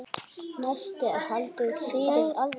Næst er haldið fyrir aðra nösina á meðan úðað er í hina.